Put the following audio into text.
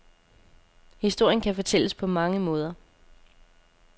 Historien kan fortælles på mange måder.